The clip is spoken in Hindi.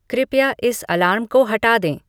कृपया इस अलार्म को हटा दें